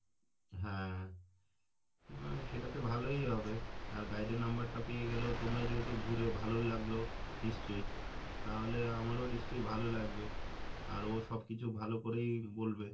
হ্যাঁ সেটা তো ভালোই হবে আর guide এর number টা পেয়ে গেলেও তোমরা যেহেতু ঘুরে ভালো লাগলো নিশ্চয় তাহলে আমারও নিশ্চয় ভালো লাগবে আর ও সব কিছু ভালো করেই বলবে,